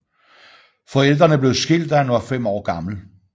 Forældrene blev skilt da han var 5 år gammel